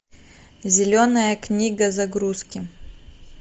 зеленая книга загрузки